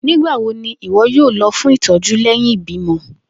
Nigbawo ni iwọ yoo lọ fun itọju lẹhin ibimọ?